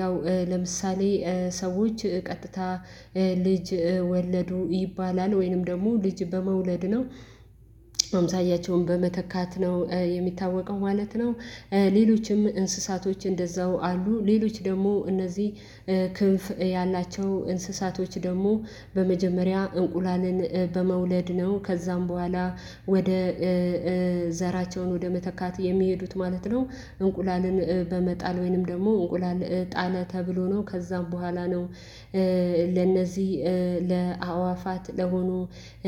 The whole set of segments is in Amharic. ያው ለምሳሌ ሰዎች ቀጥታ ልጅ ወለዱ ይባላል ወይንም ደግሞ ልጅ በመውለድ ነው አምሳያቸውን በመተካት ነው የሚታወቀው ማለት ነው። ሌሎችም እንስሳቶች እንደዛው አሉ ሌሎች ደግሞ እነዚህ ክንፍ ያላቸው እንስሳቶች ደግሞ በመጀመሪያ እንቁላልን በመውለድ ነው ከዛም በኋላ ወደ ዘራቸውን ወደ መተካት የሚሄዱት ማለት ነው። እንቁላልን በመጣል ወይንም ደግሞ እንቁላል ጣለ ተብሎ ነው ከዛም በኋላ ነው ለእነዚህ ለአእዋፋት ለሆኑ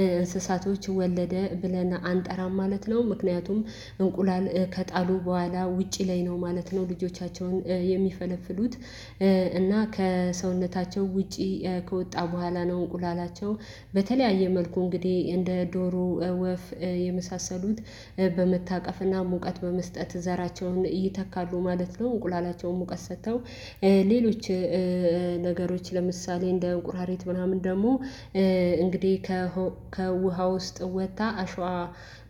እንስሳቶች ወለደ ብለን አንጠራም ማለት ነው። ምክንያቱም እንቁላል ከጣሉ በኋላ ውጪ ላይ ነው ማለት ነው ልጆቻቸውን የሚፈለፍሉት እና ከሰውነታቸው ውጪ ከወጣ በኋላ ነው እንቁላላቸው በተለያየ መልኩ እንግዲህ እንደ ዶሮ ወፍ የመሳሰሉት በመታቀፍና ሙቀት በመስጠት ዘራቸውን ይተካሉ ማለት ነው። እንቁላላቸውን ሙቀት ሰጥተው ሌሎች ነገሮች ለምሳሌ እንደ እንቁራሪት ምናምን ደግሞ እንግዲህ ከውሃ ውስጥ ወጣ አሸዋ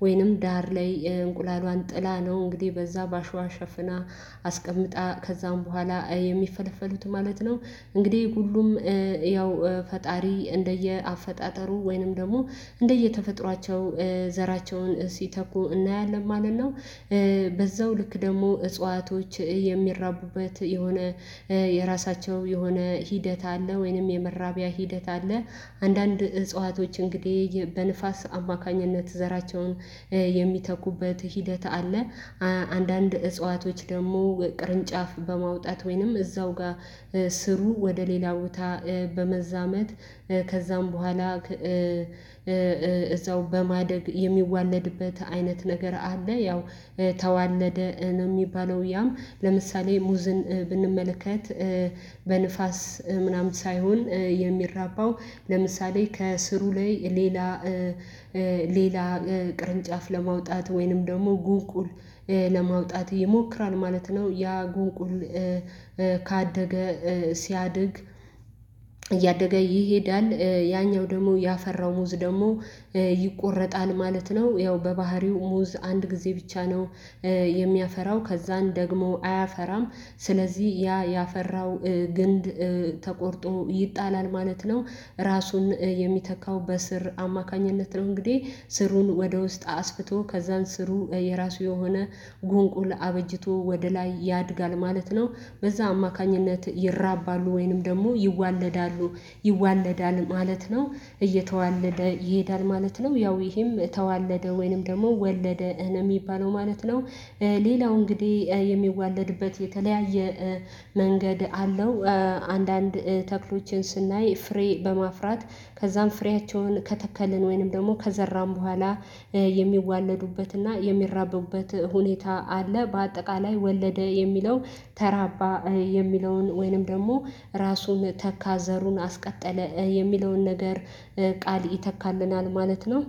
ወይንም ዳር ላይ እንቁላሏን ጥላ ነው እንግዲህ በዛ በአሸዋ ሸፍና አስቀምጣ ከዛም በኋላ የሚፈለፈሉት ማለት ነው። እንግዲህ ሁሉም ያው ፈጣሪ እንደየ አፈጣጠሩ ወይንም ደግሞ እንደየተፈጥሯቸው ዘራቸውን ሲተኩ እናያለን ማለት ነው። በዛው ልክ ደግሞ እጽዋቶች የሚራቡበት የሆነ የራሳቸው የሆነ ሂደት አለ ወይንም የመራቢያ ሂደት አለ አንዳንድ እጽዋቶች እንግዲህ በንፋስ አማካኝነት ዘራቸውን የሚተኩበት ሂደት አለ። አንዳንድ እጽዋቶች ደግሞ ቅርንጫፍ በማውጣት ወይንም እዛው ጋር ስሩ ወደ ሌላ ቦታ በመዛመት ከዛም በኋላ እዛው በማደግ የሚዋለድበት አይነት ነገር አለ። ያው ተዋለደ ነው የሚባለው ያም ለምሳሌ ሙዝን ብንመለከት በንፋስ ምናምን ሳይሆን የሚራባው ለምሳሌ ከስሩ ላይ ሌላ ሌላ ቅርንጫፍ ለማውጣት ወይንም ደግሞ ጉንቁል ለማውጣት ይሞክራል ማለት ነው። ያ ጉንቁል ካደገ ሲያድግ እያደገ ይሄዳል ያኛው ደሞ ያፈራው ሙዝ ደሞ ይቆረጣል ማለት ነው። ያው በባህሪው ሙዝ አንድ ጊዜ ብቻ ነው የሚያፈራው ከዛን ደግሞ አያፈራም ስለዚህ ያ ያፈራው ግንድ ተቆርጦ ይጣላል ማለት ነው። ራሱን የሚተካው በስር አማካኝነት ነው እንግዲህ ስሩን ወደ ውስጥ አስፍቶ ከዛን ስሩ የራሱ የሆነ ጉንቁል አበጅቶ ወደ ላይ ያድጋል ማለት ነው። በዛ አማካኝነት ይራባሉ ወይንም ደግሞ ይዋለዳሉ ይዋለዳል ማለት ነው እየተዋለደ ይሄዳል ማለት ነው ያው ይሄም ተዋለደ ወይንም ደግሞ ወለደ ነው የሚባለው ማለት ነው። ሌላው እንግዲህ የሚዋለድበት የተለያየ መንገድ አለው አንዳንድ ተክሎችን ስናይ ፍሬ በማፍራት ከዛም ፍሬያቸውን ከተከልን ወይንም ደግሞ ከዘራን በኋላ የሚዋለዱበትና የሚራበቡበት ሁኔታ አለ። በአጠቃላይ ወለደ የሚለው ተራባ የሚለውን ወይንም ደግሞ ራሱን ተካ ዘሩን አስቀጠለ የሚለውን ነገር ቃል ይተካልናል ማለት ነው